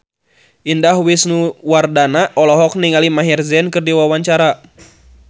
Indah Wisnuwardana olohok ningali Maher Zein keur diwawancara